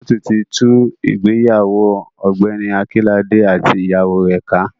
Kóòtù ti tú ìgbéyàwó Ọ̀gbẹ́ni Akínlàdé àti ìyàwó rẹ̀ ká.